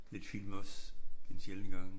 Lidt film også en sjælden gang